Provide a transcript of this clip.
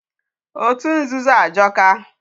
Otu nzuzu ajọka.